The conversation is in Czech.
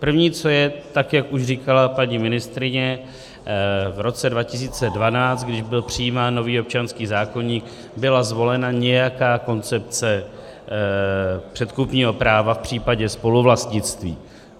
První, co je, tak jak už říkala paní ministryně, v roce 2012, když byl přijímán nový občanský zákoník, byla zvolena nějaká koncepce předkupního práva v případě spoluvlastnictví.